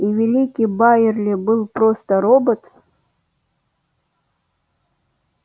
и великий байерли был просто робот